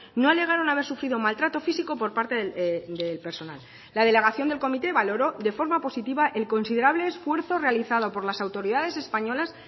no alegaron haber sufrido maltrato físico por parte del personal la delegación del comité valoró de forma positiva el considerable esfuerzo realizado por las autoridades españolas